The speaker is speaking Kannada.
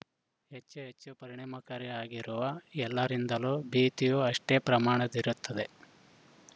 ಹೆಚ್ಚು ಹೆಚ್ಚು ಪರಿಣಾಮಕಾರಿ ಆಗಿರುವ ಎಲ್ಲರಿಂದಲೂ ಭೀತಿಯೂ ಅಷ್ಟೇ ಪ್ರಮಾಣದ್ದಿರುತ್ತದೆ